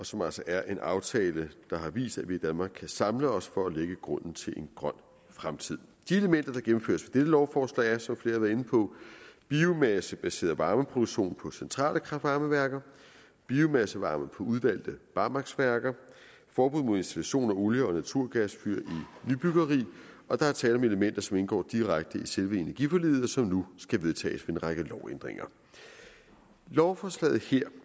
som altså er en aftale der har vist at vi i danmark kan samle os for at lægge grunden til en grøn fremtid de elementer der gennemføres med dette lovforslag er som flere har været inde på biomassebaseret varmeproduktion på centrale kraft varme værker biomassevarme på udvalgte barmarksværker og forbud mod installation af olie og naturgasfyr i nybyggeri og der er tale om elementer som indgår direkte i selve energiforliget og som nu skal vedtages ved en række lovændringer lovforslaget her